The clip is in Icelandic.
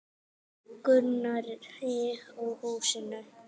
Gunnari og húsinu.